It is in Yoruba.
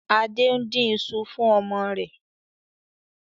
Adé ń dín ìṣù fún ọmọ rẹ̀